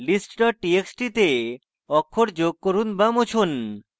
list txt txt তে অক্ষর যোগ করুন বা মুছুন